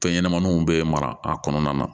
Fɛn ɲɛnɛmaninw bɛ mara a kɔnɔna na